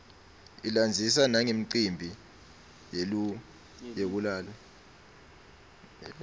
ilandzisa nanqemphi yeliue yekulala